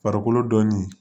Farikolo dɔnni